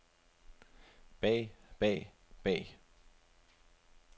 bag bag bag